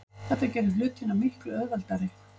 Þetta gerir hlutina miklu auðveldari.